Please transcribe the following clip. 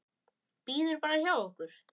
Bíður bara hjá okkur!